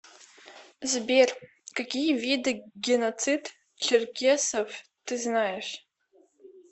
сбер какие виды геноцид черкесов ты знаешь